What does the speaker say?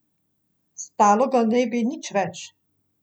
Stalo ga ne bi nič več.